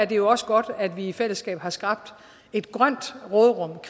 det jo også godt at vi i fællesskab har skabt et grønt råderum